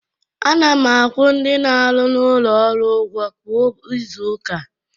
Ana m akwụ ndị na-arụ n'ụlọ ọrụ ụgwọ kwa izu ụka.